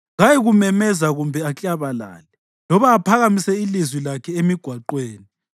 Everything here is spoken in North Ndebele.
Kayikumemeza kumbe aklabalale, loba aphakamise ilizwi lakhe emigwaqweni.